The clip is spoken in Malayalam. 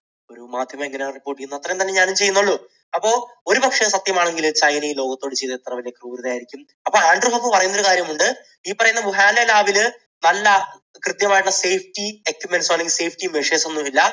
മാധ്യമം ഇങ്ങനെ report ചെയ്യുന്നു. അത്രമാത്രമേ ഞാനും ചെയ്യുന്നുള്ളൂ. അപ്പൊ ഒരുപക്ഷേ അത് സത്യമാണെങ്കിൽ ചൈന ഈ ലോകത്തോട് ചെയ്തത് എത്ര വലിയ ക്രൂരത ആയിരിക്കും? അപ്പോൾ ആൻഡ്രൂസ് ഹഫ് പറയുന്ന ഒരു കാര്യമുണ്ട്, ഈ പറയുന്ന വുഹാനിലെ lab ൽ നല്ല കൃത്യം ആയിട്ടുള്ള safety equipments, safety measures ഒന്നുമില്ല.